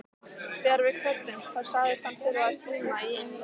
Þegar við kvöddumst þá sagðist hann þurfa tíma í einrúmi.